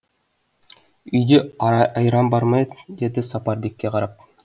үйде айран бар ма еді деді сапарбекке қарап